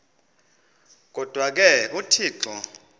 kodwa ke uthixo